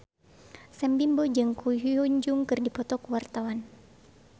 Sam Bimbo jeung Ko Hyun Jung keur dipoto ku wartawan